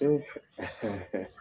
E